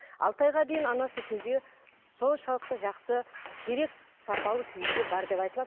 алты айға дейін ана сүтінде соншалықты жақсы керек сапалы күйінде бар деп айтылады